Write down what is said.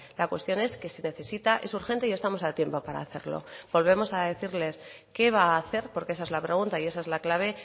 la cuestión es que se necesita es urgente y estamos a tiempo para hacerlo volvemos a decirles qué va a hacer porque esa es la pregunta y esa es la clave